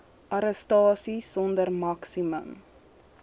arrestasie sonder maksimum